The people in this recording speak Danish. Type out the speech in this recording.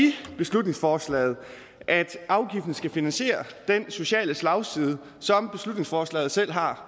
beslutningsforslaget at afgiften skal finansiere den sociale slagside som beslutningsforslaget selv har